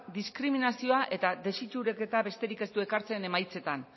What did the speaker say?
diskriminazioa eta desitxuraketa besterik ez du ekartzen emaitzetan